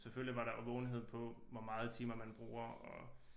Selvfølgelig var der vågenhed på hvor meget timer man bruger og